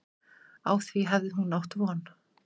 Á því hafi hún átt von.